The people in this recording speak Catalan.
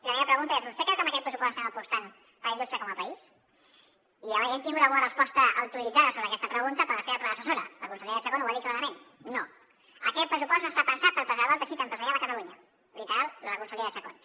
la meva pregunta és vostè creu que amb aquest pressupost estem apostant per la indústria com a país i hem tingut alguna resposta autoritzada sobre aquesta pregunta per la seva predecessora la consellera chacón ho va dir clarament no aquest pressupost no està pensat per preservar el teixit empresarial a catalunya literal de la consellera chacón